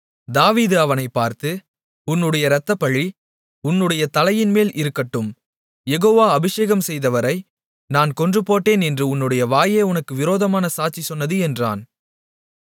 தாவீது அவனைப் பார்த்து உன்னுடைய இரத்தப்பழி உன்னுடைய தலையின்மேல் இருக்கட்டும் யெகோவா அபிஷேகம் செய்தவரை நான் கொன்றுபோட்டேன் என்று உன்னுடைய வாயே உனக்கு விரோதமான சாட்சி சொன்னது என்றான்